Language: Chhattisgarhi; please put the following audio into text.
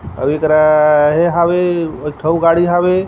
ओहि करा एहे हवे एक ठो अउ गाड़ी हवे।